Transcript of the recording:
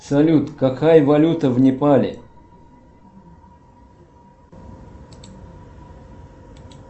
салют какая валюта в непале